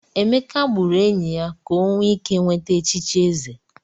Emeka gburu enyi ya ka o wee ike nweta echichi eze.